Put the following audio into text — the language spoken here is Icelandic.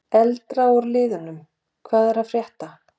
Eldra úr liðnum: Hvað er að frétta?